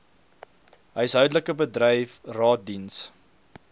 huishoudelik bedryf raadsdiens